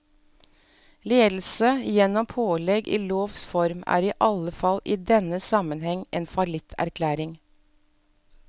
Ledelse gjennom pålegg i lovs form er i alle fall i denne sammenheng en fallitterklæring.